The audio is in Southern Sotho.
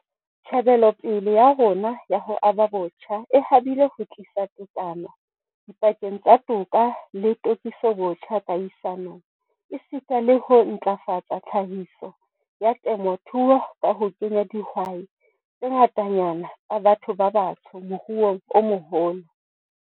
Tjhebelopele ya rona ya ho aba botjha e habile ho tlisa tekano dipakeng tsa toka le tokisobotjha kahisanong, esita le ho ntlafatsa tlhahiso ya temothuo ka ho kenya dihwai tse ngatanyana tsa batho ba batsho moruong o moholo.